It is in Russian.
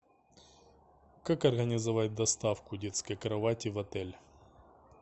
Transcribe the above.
как организовать доставку детской кровати в отель